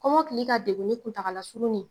Kɔmɔkili ka deguni kuntagala surunnin